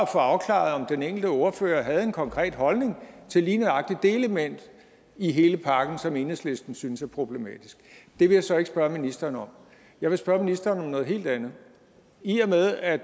få afklaret om den enkelte ordfører havde en konkret holdning til lige nøjagtig det element i hele pakken som enhedslisten synes er problematisk det vil jeg så ikke spørge ministeren om jeg vil spørge ministeren om noget helt andet i og med at